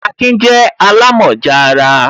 Akin je alamoja ara